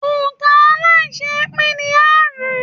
Òǹ̀kà aláiṣẹépín ni aárùn-ún.